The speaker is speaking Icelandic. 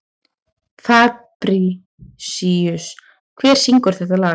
Fabrisíus, hver syngur þetta lag?